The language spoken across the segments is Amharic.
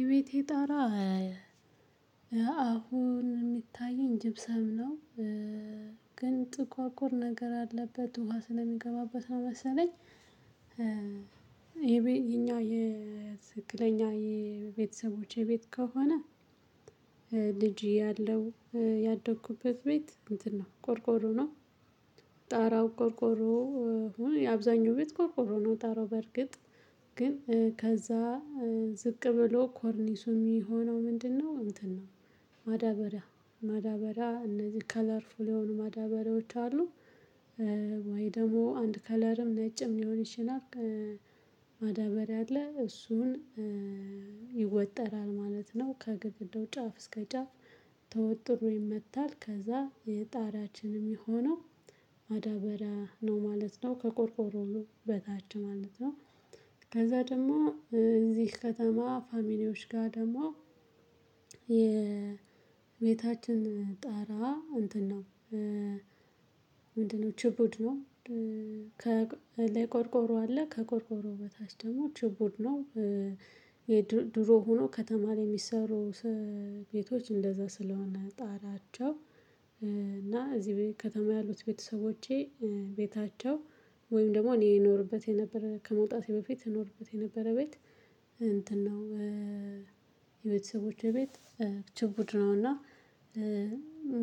የቤቴ ጣራ አሁን የሚታየኝ ጅብሰም ነው። ግን ጥቋቁር ነገር አለበት ውሃ ስለሚገባበት ነው መሰለኝ። የኛ የትክክለኛ የቤተሰቦቼ ቤት ከሆነ። ልጅ ያለው ያደኩበት ቤት እንትን ነው። ቆርቆሮ ነው። ጣራው ቆርቆሮ አብዛኛው ቤት ቆርቆሮ ነው። ጣራው በርግጥ ግን ከዛ ዝቅ ብሎ ኮርኒሱ የሚሆነው ምንድነው? እንትን ነው። ማዳበሪያ ማዳበሪያ እነዚህ ከለርፉል የሆኑ ማዳበሪያዎች አሉ። ወይ ደግሞ አንድ ከለርም ነጭም ሊሆን ይችላል። ያለ እሱን ይወጠራል ማለት ነው። ከግድግዳው ጫፍ እስከ ጫፍ ተወጥሮ ይመታል። ከዛ የጣራችንም የሆነው ማዳበሪያ ነው ማለት ነው። ከቆርቆሮው ነው በታች ማለት ነው። ከዛ ደግሞ እዚህ ከተማ ፋሚሊዎች ጋር ደግሞ የቤታችን ጣራ እንትን ነው። ምንድነው? ጭቡድ ነው። ከላይ ቆርቆሮ አለ ከቆርቆሮ በታች ደግሞ ችቡድ ነው። የድሮ ሆኖ ከተማ ላይ የሚሰሩ ቤቶች እንደዛ ስለሆነ ጣራቸው እና እዚህ ከተማ ያሉት ቤተሰቦቼ ቤታቸው። ወይም ደግሞ እኔ እኖርበት የነበረ ከመውጣቴ በፊት እኖርበት የነበረ ቤት እንትን ነው። የቤተሰቦቼ ቤት ችቡድ ነውና።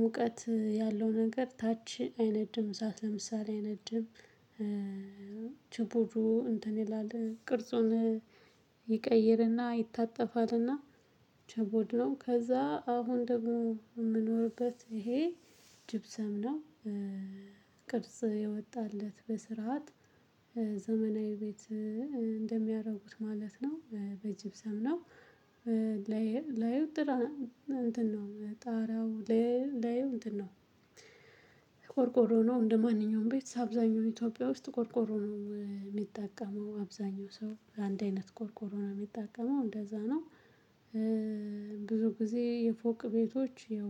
ሙቀት ያለው ነገር ታች አይነድም አሳት ለምሳሌ አይነድም። ችቡዱ እንትን ይላል ቅርጹን ይቀይርና ይታጠፋልና ችቡድ ነው። ከዛ አሁን ደግሞ የምኖርበት ይሄ ጅብሰም ነው። ቅርጽ የወጣለት በስርዓት ዘመናዊ ቤት እንደሚያደርጉት ማለት ነው በጅብሰም ነው። ላይ ላይ እንትን ነው ጣራው ላይ ላይ እንትን ነው። ያው እንደማንኛውም ቤት አብዛኛው ኢትዮጵያ ውስጥ ቆርቆሮ ነው የሚጠቀመው አብዛኛው ሰው በአንድ አይነት ቆርቆሮና የሚጣቀመው እንደዛ ነው። ብዙ ጊዜ የፎቅ ቤቶች ያው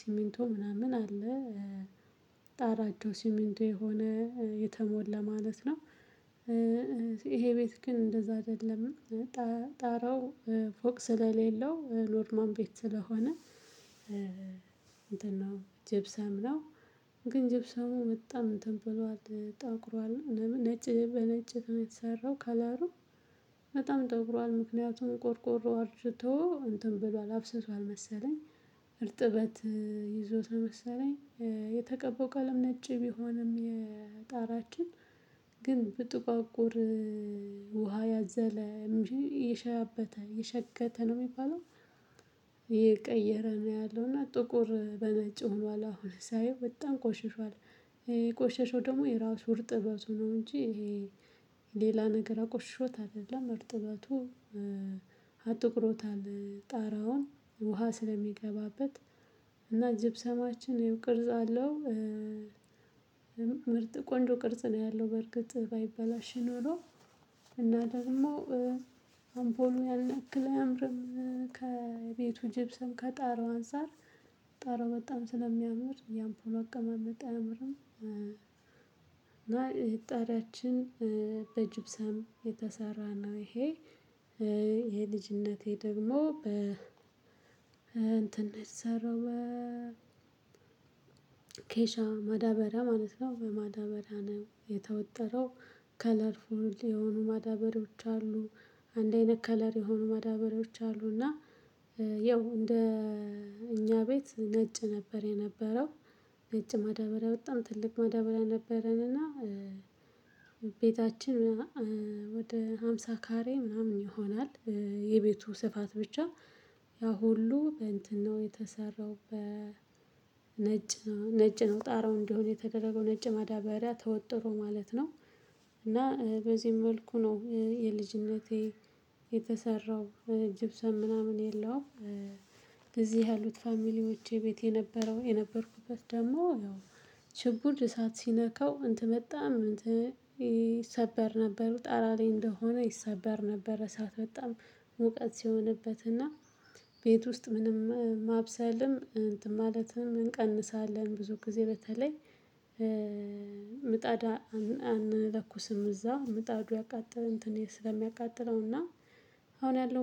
ሲሚንቶ ምናምን አለ። ጣራቸው ሲሚንቶ የሆነ የተሞላ ማለት ነው። ይሄ ቤት ግን እንደዛ አይደለም። ጣረው ፎቅ ስለሌለው ኖርማል ቤት ስለሆነ። እንትን ነው ጅብሰም ነው። ግን ጀብሰሙ መጣ ምን ተብሏል? ታውቁራለህ ነጭ በነጭ የሰራው ከላዩ በጣም ጠቁሯል ምክንያቱን ቆርቆሮ አርጅቶ እንትን ብሏል አፍስሷል መሰለኝ። ይዞት ነው መሰለኝ። የተቀባው ቀለም ነጭ ቢሆንም የጣራችን ግን ብጥቋቁር ውሃ ያዘለ የሸበተ የሸገተ ነው። የሚባለው የቀየረ ነው ያለው እና ጥቁር በነጪው ሆኖ አሁን ሳየው በጣም ቆሽሿል። ቆሻሻው ደግሞ የራሱ እርጥበቱ ነው እንጂ። ይሄ ሌላ ነገር አቆሽሾት አይደለም እርጥበቱ አጥቁሮታል ጣራውን ውሃ ስለሚገባበት እና ጅብሰማችን ያው ቅርጽ አለው። ምርጥ ቆንጆ ቅርጽ ነው ያለው በርግጥ ባይበላሽ ኖሮ። እና ደግሞ አምፖሉ ያልነቀለ አያምርም ከቤቱ ጅብ ስም ከጣራው አንፃር ጣራው በጣም ስለሚያምር ያምፖሎ አቀመመጥ አያምርም። እና እጣሪያችን በጅብሳም የተሰራ ነው ይሄ። የልጅነቴ ደግሞ በ እንትን የተሰራው ኬሻ ማዳበሪያ ማለት ነው። በማዳበሪያ ነው የተወጠረው። ከለር ፉል የሆኑ ማዳበሪያዎች አሉ። አንድ አይነት ከለር የሆኑ ማዳበሪያዎች አሉ አሉና። ያው እንደ እኛ ቤት ነጭ ነበር የነበረው ነጭ ማዳበሪያ በጣም ትልቅ ማዳበር ነበረንና። ቤታችን ወደ ሃምሳ ካሬ ምናምን ይሆናል የቤቱ ስፋት ብቻ። ያ ሁሉ በእንትናው የተሰራው በ ነጭ ነው ነጭ ነው ጣራው እንደሆነ የተደረገው ነጭ መዳበሪያ ተወጥሮ ማለት ነው። እና በዚህም መልኩ ነው የልጅነቴ የተሰራው ጅብሰን ምናምን የለውም። ጊዜ ያሉት ፋሚሊዎቼ ቤት የነበረው የነበርኩበት ደግሞ ያው ችብድ እሳት ሲነካው እንትን በጣም እንትን ይሰበር ነበሩ ጠራ ላይ እንደሆነ ይሰበር ነበር። እሳት በጣም ሙቀት ሲሆንበትና። ቤት ውስጥ ምንም ማብሰልም እንትን ማለትም እንቀንሳለን ብዙ ጊዜ በተለይ። ምጣዳ አንለኩስም እዛው ምጣዱ ያቃጥለው እንትን ስለሚያቃጥለው እና። አሁን ያለው